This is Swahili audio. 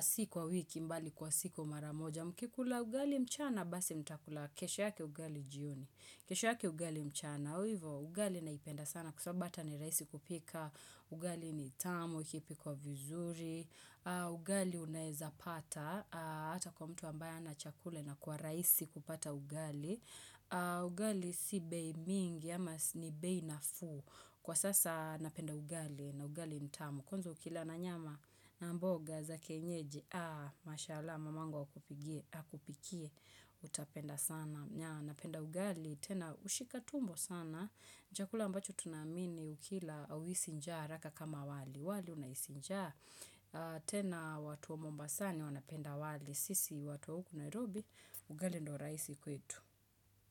Si kwa wiki mbali kwa siku mara moja. Mkikula ugali mchana basi mtakula kesho yake ugali jioni kesho yake ugali mchana hivo ugali naipenda sana Kwa sababu hata ni rahisi kupika ugali ni tamu ikipikwa vizuri Ugali unaeza pata hata kwa mtu ambaye hana chakula inakuwa rahisi kupata ugali Ugali si bei mingi ama ni bei nafuu Kwa sasa napenda ugali na ugali ni tamu Kwanza ukila na nyama na mboga za kienyeji aa mashallah mamangu akupigie akupikie utapenda sana napenda ugali tena hushika tumbo sana ni chakula ambacho tunaamini ukila hauhisi njaa haraka kama wali wali unahisi njaa tena watu wa mombasani wanapenda wali sisi watu wa huku Nairobi ugali ndo rahisi kwetu.